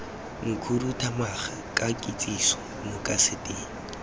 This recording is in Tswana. mokhuduthamaga ka kitsiso mo kaseteng